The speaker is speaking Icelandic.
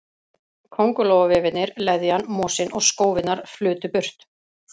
Kóngulóarvefirnir, leðjan, mosinn og skófirnar flutu burt.